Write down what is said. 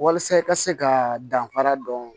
Walasa i ka se ka danfara dɔn